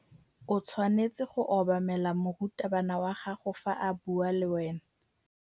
O tshwanetse go obamela morutabana wa gago fa a bua le wena.